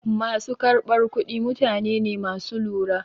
Ma su karɓar kuɗi mutane ne ma su lura.